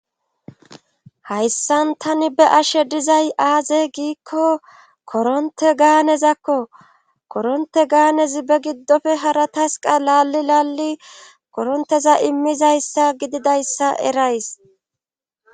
hayssan tani be ashe dizay aaze giikko koronte gaanezakko koronte gaanezi be giddofe hara tasqa laalli lalli koronteza immizayssa gididayssa erays